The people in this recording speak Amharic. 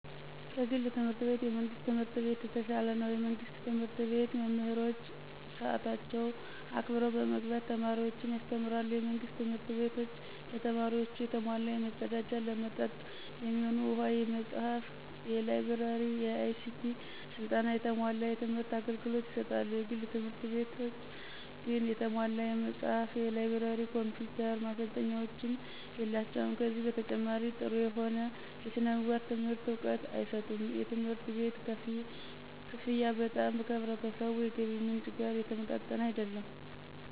ከግል ትምህርት ቤት የመንግስት ትምህርት ቤት የተሻለ ነው። የመንግስት ትምህርት ቤት መምህሮች ሰአታቸውን አክብረው በመግባት ተማሪዎችን ያስተምራሉ። የመንግስት ትምህርት ቤቶች ለተማሪዎቹ የተሟላ የመፀዳጃ፣ ለመጠጥ የሚሆኑ ውሃ፣ የመፅሃፍ፣ የላይ ብረሪ፣ የአይሲቲ ስልጠና፣ የተሟላ የትምህር አገልግሎት ይሰጣሉ። የግል ትምህርት ቤቶች ግን የተሟላ የመጽሐፍ፣ የላይብረሪ፣ የኮምፒውተር ማሰልጠኛዎች የላቸውም። ከዚህ በተጨማሪ ጠሩ የሆነ የስነምግባር ትምህርት እውቀት አይሰጡም። የትምህርት ቤት ከፍያ በጣም ከህብረተሰቡ የገቢ ምንጭ ጋር የተመጣጠነ አይደለም።